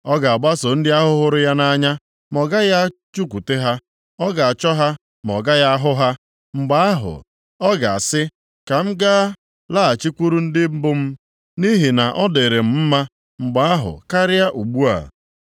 Ọ ga-agbaso ndị ahụ hụrụ ya nʼanya ma ọ gaghị achụkwute ha. Ọ ga-achọ ha ma ọ gaghị ahụ ha. Mgbe ahụ, ọ ga-asị, ‘Ka m gaa laghachikwuru di mbụ m, nʼihi na ọ dịrị m mma mgbe ahụ karịa ugbu a.’